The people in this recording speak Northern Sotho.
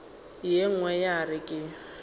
ye nngwe ya re ke